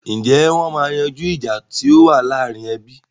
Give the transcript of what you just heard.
Ǹjẹ́ wọn máa yanjú ìjà tí ó wà láàrin ẹbí?